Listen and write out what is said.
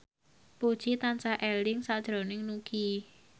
Puji tansah eling sakjroning Nugie